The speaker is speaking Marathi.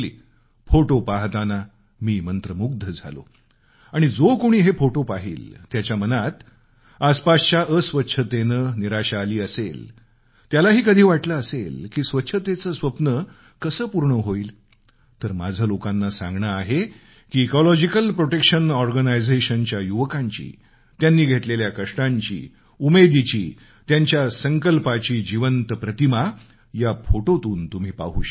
फोटो पाहताना मी मंत्रमुग्ध झालो आणि जो कुणी हे फोटो पाहिल ज्याच्या मनात आसपासच्या अस्वच्छतेनं निराशा आली असेल त्यालाही कधी वाटलं असेल की स्वच्छतेचं स्वप्न कसं पूर्ण होईल तर माझं लोकांना सांगणं आहे की इकॉलॉजिकल प्रोटेक्शन ऑर्गनायझेशनच्या युवकांची त्यांनी घेतलेल्या कष्टांची उमेदीची त्यांच्या संकल्पाची जिवंत प्रतिमा या फोटोतून तुम्ही पाहू शकता